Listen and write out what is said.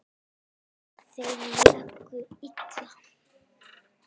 Þeir léku illa.